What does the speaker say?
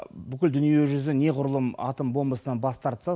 бүкіл дүниежүзі неғұрлым атом бомбасынан бас тартса